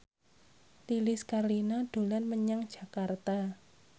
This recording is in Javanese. Lilis Karlina dolan menyang Jakarta